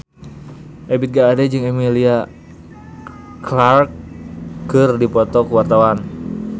Ebith G. Ade jeung Emilia Clarke keur dipoto ku wartawan